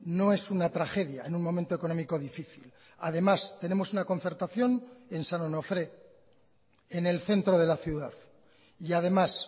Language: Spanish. no es una tragedia en un momento económico difícil además tenemos una concertación en san onofré en el centro de la ciudad y además